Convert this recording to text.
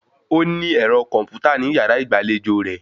Ó ní ẹ̀rọ kọ̀m̀pútà ní yàrá ìgbàlejò rẹ̀